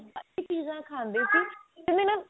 ਕਾਫੀ ਚੀਜ਼ਾਂ ਖਾਂਦੇ ਸੀ